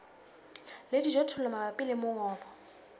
le dijothollo mabapi le mongobo